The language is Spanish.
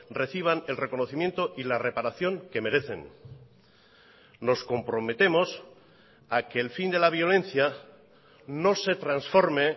reciban el reconocimiento y la reparación que merecen nos comprometemos a que el fin de la violencia no se transforme